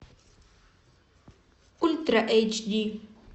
ультра эйч ди